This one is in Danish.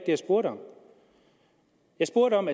jeg spurgte om jeg spurgte om